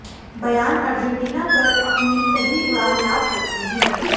बयान अर्जेंटीना पर अपनी पहली उड़ान याद करते हैं